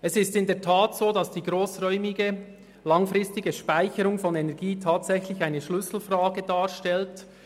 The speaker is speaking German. Es ist in der Tat so, dass die grossräumige langfristige Speicherung von Energie eine bisher ungelöste Schlüsselfrage darstellt.